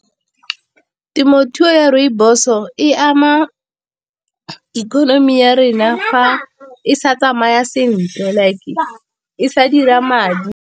Temothuo ya rooibos-o e ama economy ya rena fa e sa tsamaya sentle like e sa dira madi.